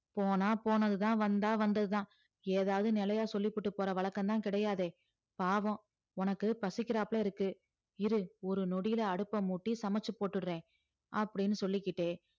போனா போனதுதான் வந்தா வந்ததுதான் ஏதாவது நிலையா சொல்லிபுட்டு போற வழக்கம்தான் கிடையாதே பாவம் உனக்கு பசிக்கிறாப்புல இருக்கு இரு ஒரு நொடியில அடுப்ப மூட்டி சமைச்சு போட்டுடறேன் அப்படீன்னு சொல்லிக்கிட்டே